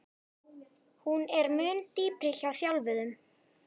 Hún er mun dýpri hjá þjálfuðum.